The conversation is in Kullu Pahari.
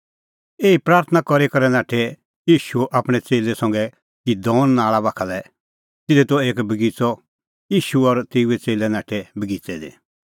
एही प्राथणां करी करै नाठअ ईशू आपणैं च़ेल्लै संघै किदोन नाल़ा पार बाखा लै तिधी त एक बगिच़अ ईशू और तेऊए च़ेल्लै नाठै तेऊ बगिच़ै दी